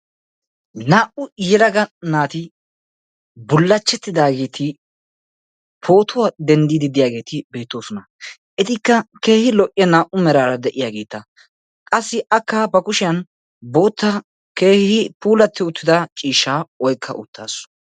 Naa "u yelagaa naati bullachchetidaageeti pootuwa denddi diyaageeti beettoosona. Etikka keehin lo"iyaa naa"u meraara de'iyaageeta qassi akka ba kushshiyan boottaa keehi puulatti uttida ciishsha oykka uttaasu.